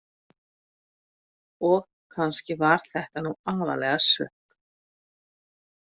Og kannski var þetta nú aðallega sukk.